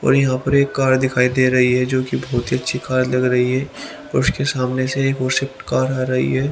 और यहां पर एक कार दिखाई दे रही है जो कि बहुत ही अच्छी कार लग रही है और उसके सामने से एक और स्विफ्ट कार आ रही है।